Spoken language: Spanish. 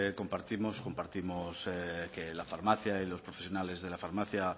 compartimos que la farmacia y los profesionales de la farmacia